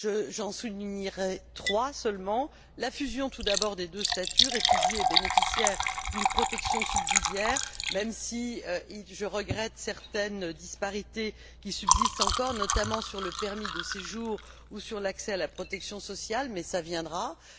J'en soulignerai trois seulement la fusion, tout d'abord, des deux statuts, celui de réfugié et celui de bénéficiaire d'une protection subsidiaire, même si je regrette certaines disparités qui subsistent encore, notamment sur le permis de séjour ou sur l'accès à la protection sociale, mais cette harmonisation viendra.